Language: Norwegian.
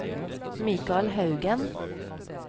Mikael Haugen